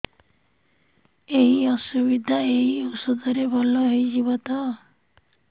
ଏଇ ଅସୁବିଧା ଏଇ ଔଷଧ ରେ ଭଲ ହେଇଯିବ ତ